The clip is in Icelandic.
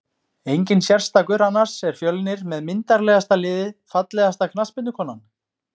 Enginn sérstakur annars er fjölnir með myndarlegasta liðið Fallegasta knattspyrnukonan?